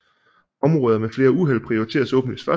Områder med flere uheld prioriteres åbenlyst først